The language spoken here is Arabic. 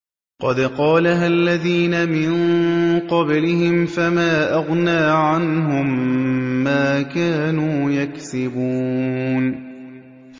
قَدْ قَالَهَا الَّذِينَ مِن قَبْلِهِمْ فَمَا أَغْنَىٰ عَنْهُم مَّا كَانُوا يَكْسِبُونَ